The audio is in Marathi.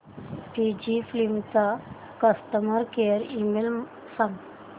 फुजीफिल्म चा कस्टमर केअर ईमेल सांगा